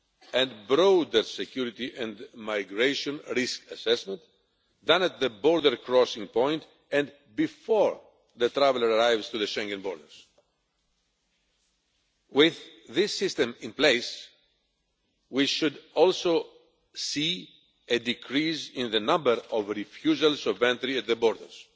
and broader security and migration risk assessment than at the border crossing point, and before the traveller arrives at the Schengen borders. With this system in place we should also see a decrease in the number of refusals of entry at the borders.